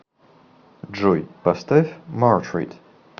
джой поставь мартрид